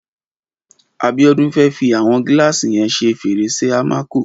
Abiodun fè fi awọn gìlásí yèn ṣé férésé àmákó